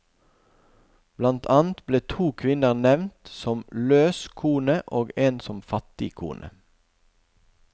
Blant annet ble to kvinner nevnt som løs kone og en som fattig kone.